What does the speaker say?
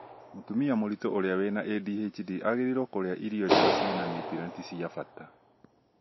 mũtumia mũritũ ũrĩa wĩna ADHD aagĩrĩirwo kũrĩa irio njega ciĩna niutrienti cia bata